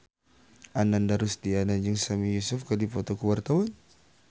Ananda Rusdiana jeung Sami Yusuf keur dipoto ku wartawan